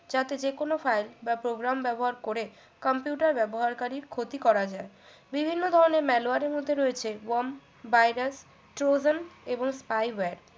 যাতে যে কোন file বা programme ব্যবহার করে computer ব্যবহারকারীর ক্ষতি করা যায় বিভিন্ন ধরনের malware এর মধ্যে রয়েছে worm virus trozen এবং spy ward